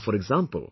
Now for example